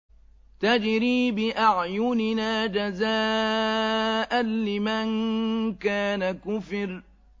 تَجْرِي بِأَعْيُنِنَا جَزَاءً لِّمَن كَانَ كُفِرَ